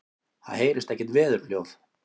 Það heyrist ekkert veðurhljóð.